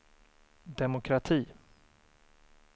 demokrati